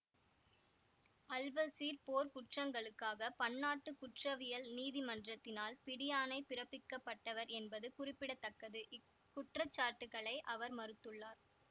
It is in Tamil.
அல்பசீர் போர்க்குற்றங்களுக்காக பன்னாட்டு குற்றவியல் நீதிமன்றத்தினால் பிடியாணை பிரப்பிக்கப்பட்டவர் என்பது குறிப்பிட தக்கது இக்குற்றச்சாட்டுக்களை அவர் மறுத்துள்ளார்